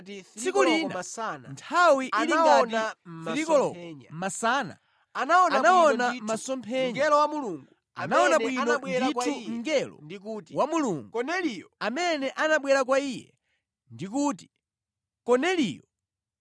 Tsiku lina, nthawi ili ngati 3 koloko masana, anaona masomphenya. Anaona bwino ndithu mngelo wa Mulungu, amene anabwera kwa iye ndi kuti, “Korneliyo.”